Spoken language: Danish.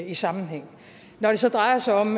i sammenhæng når det så drejer sig om